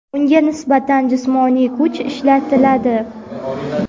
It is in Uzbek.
unga nisbatan jismoniy kuch ishlatiladi.